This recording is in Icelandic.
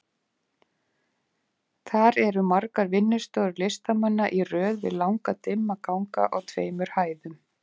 Þar eru margar vinnustofur listamanna í röð við langa dimma ganga á tveimur hæðum.